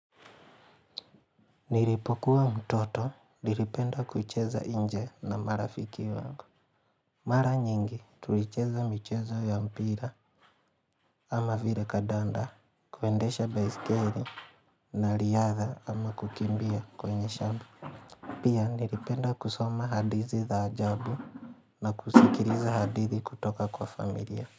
Nilipokuwa mtoto, nilipenda kucheza nje na marafiki wangu. Mara nyingi, tulicheza michezo ya mpira ama vile kadanda, kuendesha baiskeli na riyadha ama kukimbia kwenye shamba. Pia nilipenda kusoma hadithi za ajabu na kusikiliza hadithi kutoka kwa familia.